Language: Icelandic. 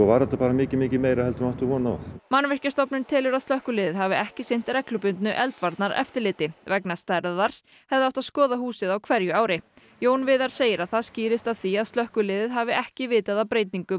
var þetta mikið mikið meira en við áttum von á Mannvirkjastofnun telur að slökkviliðið hafi ekki sinnt reglubundnu eldvarnareftirliti vegna stærðar hefði átt að skoða húsið á hverju ári Jón Viðar segir að það skýrist af því að slökkviliðið hafi ekki vitað af breytingum